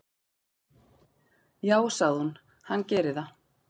"""Já, sagði hún, hann gerir það."""